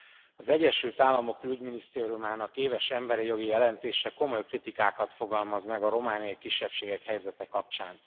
Elnök úr! Az Egyesült Államok külügyminisztériumának éves emberi jogi jelentése komoly kritikákat fogalmaz meg a romániai kisebbségek helyzete kapcsán.